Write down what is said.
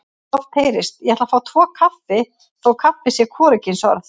Oft heyrist: Ég ætla að fá tvo kaffi þótt kaffi sé hvorugkynsorð.